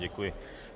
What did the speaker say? Děkuji.